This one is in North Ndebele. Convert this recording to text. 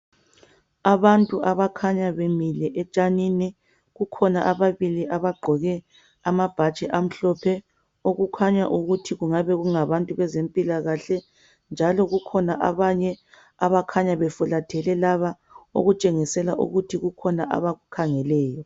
Abantu abakhanya bemile etshanini kukhona ababili abagqoke amabhatshi amhlophe okukhanya ukuthi kungabe kungabantu bezempilakahle njalo kukhona abanye abakhanya befulathele laba okutshengisela ukuthi kukhona abakukhangeleyo.